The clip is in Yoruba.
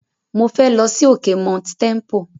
Mo fẹ́ lọ sí òkè Mount Tempo.